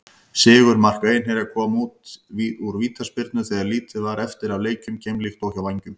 Sigurmark Einherja kom úr vítaspyrnu þegar lítið var eftir af leiknum, keimlíkt og hjá Vængjum.